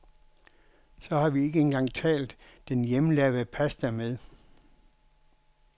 Så har vi ikke engang talt den hjemmelavede pasta med.